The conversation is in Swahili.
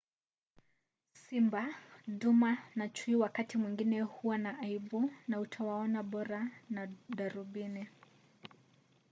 simba duma na chui wakati mwingine huwa na aibu na utawaona bora na darubini